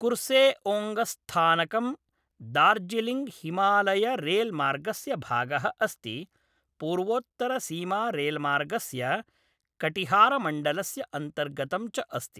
कुर्सेओङ्गस्थानकं दार्जिलिङ्गहिमालयरेलमार्गस्य भागः अस्ति, पूर्वोत्तरसीमारेलमार्गस्य कटिहारमण्डलस्य अन्तर्गतं च अस्ति ।